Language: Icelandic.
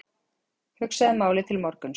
Hugsaðu málið til morguns.